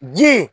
Ji